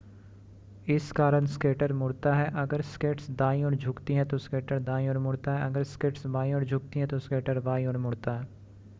इस कारण स्केटर मुड़ता है अगर स्केट्स दाईं ओर झुकती हैं तो स्केटर दाईं ओर मुड़ता है अगर स्केट्स बाईं ओर झुकती हैं तो स्केटर बाईं ओर मुड़ता है